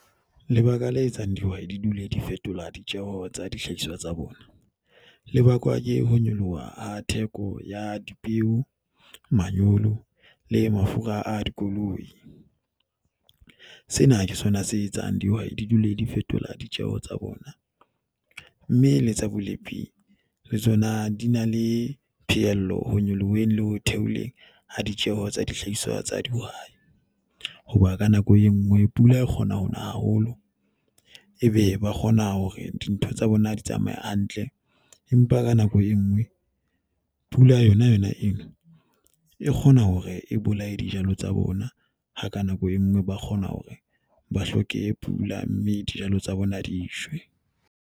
Lebaka la etsang dihwai di dule di fetola ditjeo tsa dihlahiswa tsa bona. Le bakwa ke ho nyoloha ha theko ya dipeo, manyolo le mafura a dikoloi. Sena ke sona se etsang dihwai di dule di fetola ditjeo tsa bona. Mme le tsa bolepi le tsona di na le phehello ho nyoloheng le ho theoleng ha ditjeo tsa dihlahiswa tsa di ho bua. Ka nako e nngwe pula e kgona ho na haholo, ebe ba kgona hore dintho tsa bona di tsamaya hantle. Empa ka nako e nngwe pula yona yona eo e kgona hore e bolaye dijalo tsa bona, ha ka nako e nngwe ba kgona hore ba hloke pula, mme dijalo tsa bona di shwe.